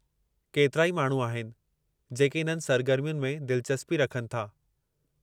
केतिरा ई माण्हू आहिनि जेके इन्हनि सरगर्मियुनि में दिलचस्पी रखनि था।